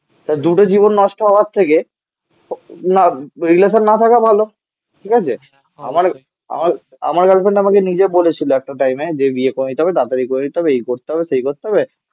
তা দুটো জীবন নষ্ট হওয়ার থেকে না রিলেসান না থাকা ভালো. ঠিক আছে? আমার আমার গার্লফ্রেন্ড আমাকে নিজে বলেছিল একটা টাইমে. যে বিয়ে করে নিতে হবে তাড়াতাড়ি করে নিতে হবে. এই করতে হবে. সেই করতে হবে